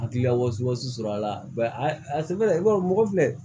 Hakilila wasama sɔrɔ a la a sɛbɛn i b'a dɔn mɔgɔ filɛ